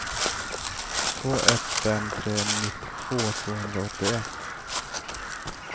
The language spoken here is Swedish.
två ett fem tre nittiotvå tvåhundraåttioett